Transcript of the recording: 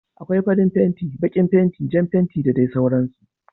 Akwai farin fenti, baƙin fenti, Jan fenti da dai sauran su